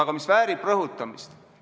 Aga see väärib rõhutamist.